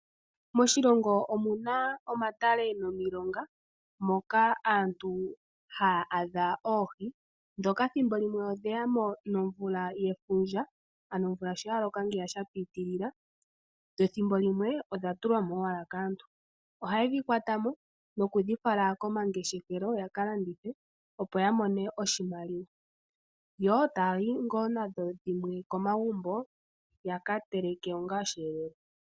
Moshilongo omuna omatale momilonga moka thimbo limwe odheyamo nefundja sho omvula ya loka shinene nenge dha tulwamo kaantu. Ohaye dhi kuthamo tafale komahala gomangeshefelo yalandithe ya mone iimaliwa nenge yafale komagumbo yakateleke osheelelwa.